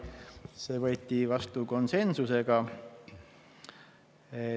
See otsus võeti vastu konsensusega.